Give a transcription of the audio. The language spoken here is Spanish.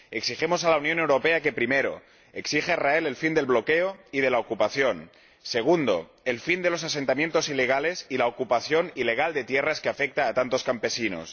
Exigimos a la Unión Europea que exija a Israel primero, el fin del bloqueo y de la ocupación segundo, el fin de los asentamientos ilegales y la ocupación ilegal de tierras, que afecta a tantos campesinos